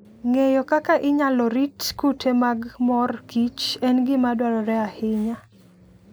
Ng'eyo kaka inyalo rit kute mag mor kich en gima dwarore ahinya.